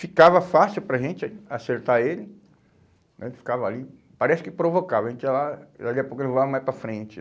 Ficava fácil para a gente acertar ele né, ele ficava ali, parece que provocava, a gente ia lá, e ali a pouco ele voava mais para frente.